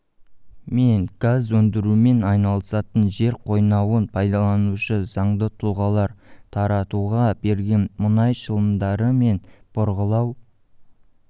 мен газ өндірумен айналысатын жер қойнауын пайдаланушы заңды тұлғалар таратуға берген мұнай шламдары мен бұрғылау